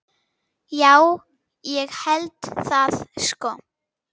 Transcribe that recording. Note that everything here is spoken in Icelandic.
Já, ég held það sko.